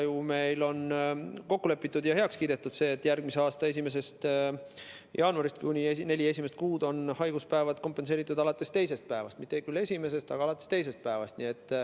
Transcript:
Meil on ju kokku lepitud ja heaks kiidetud see, et järgmise aasta 1. jaanuarist on haiguspäevad neli kuud kompenseeritud alates teisest päevast, mitte küll alates esimesest, aga teisest päevast.